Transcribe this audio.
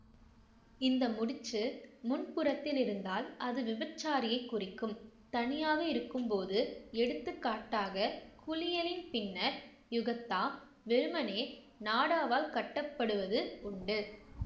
இந்த முடிச்சு முன்புறத்தில் இருந்தால் அது விபச்சாரியைக் குறிக்கும் தனியாக இருக்கும்போது எடுத்துக்காட்டாக குளியலின் பின்னர் யுகத்தா வெறுமனே நாடாவால் கட்டப்படுவது உண்டு